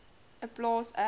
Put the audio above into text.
n plaas n